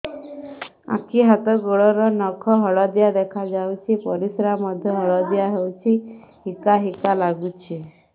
ଆଖି ହାତ ଗୋଡ଼ର ନଖ ହଳଦିଆ ଦେଖା ଯାଉଛି ପରିସ୍ରା ମଧ୍ୟ ହଳଦିଆ ହଉଛି ହିକା ହିକା ଲାଗୁଛି